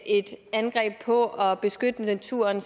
et angreb på at beskytte naturen